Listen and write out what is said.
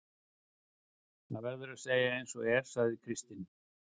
Það verður að segja eins og er, sagði Kristinn.